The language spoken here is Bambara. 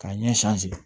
K'a ɲɛ